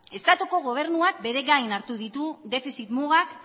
estatuko gobernuak bere gain hartu ditu defizit mugan